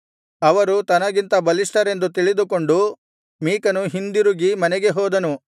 ಅವರು ತನಗಿಂತ ಬಲಿಷ್ಠರೆಂದು ತಿಳಿದುಕೊಂಡು ಮೀಕನು ಹಿಂದಿರುಗಿ ಮನೆಗೆ ಹೋದನು